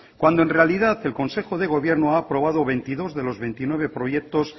cuando en realidad el consejo de gobierno ha aprobado veintidós de los veintinueve proyectos